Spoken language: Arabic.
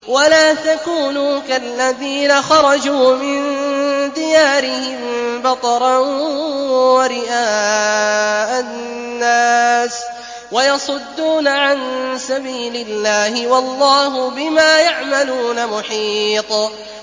وَلَا تَكُونُوا كَالَّذِينَ خَرَجُوا مِن دِيَارِهِم بَطَرًا وَرِئَاءَ النَّاسِ وَيَصُدُّونَ عَن سَبِيلِ اللَّهِ ۚ وَاللَّهُ بِمَا يَعْمَلُونَ مُحِيطٌ